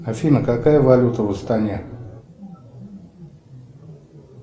афина какая валюта в астане